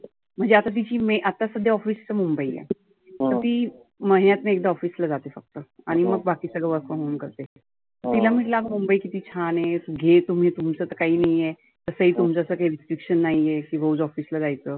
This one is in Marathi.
म्हणजे आता तिची मे आता सध्या तीच office मुंबई आहे. तर तर ती महिन्यातनं एकदा office ला जाते फक्त. आणि मग बाकी सर्व work from home करते. तीला म्हटलं मुंबई किती छान आहे घे तुम्ही तुमच तर काही नाहिए. तसं ही तुमचं restriction नाहिए की रोज office ला जायचं.